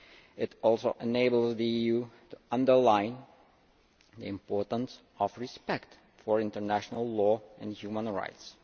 It also enables the EU to underline the importance of respect for international law and human rights.